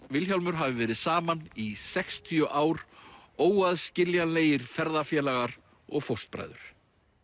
Vilhjálmur hafi verið saman í sextíu ár óaðskiljanlegir ferðafélagar og fóstbræður